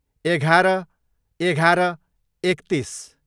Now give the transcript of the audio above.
एघार, एघार, एकतिस